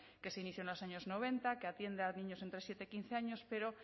que se inició en los años noventa que atiende a niños de entre siete y quince años pero